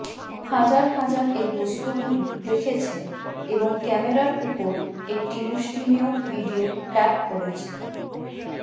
হাজার হাজার এই বস্তুগুলি দেখেছে এবং ক্যামেরার উপর একটি মুষ্টিমেয় ভিডিও ট্যাপ করেছে